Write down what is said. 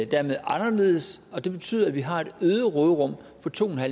dermed anderledes og det betyder at vi har et øget råderum på to